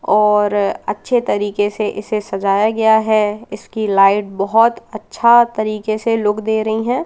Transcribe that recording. और अच्छे तरीके से इसे सजाया गया है इसकी लाइट बहोत अच्छा तरीके से लुक दे रही हैं।